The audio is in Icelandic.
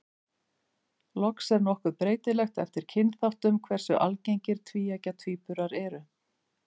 Loks er nokkuð breytilegt eftir kynþáttum hversu algengir tvíeggja tvíburar eru.